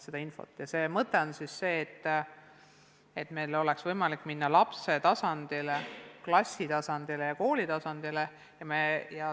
Asja mõte on see, et meil oleks võimalik minna lapse tasandile, klassi tasandile ja kooli tasandile.